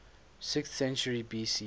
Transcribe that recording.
sixth century bc